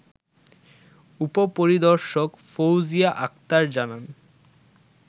উপ-পরিদর্শক ফৌজিয়া আক্তার জানান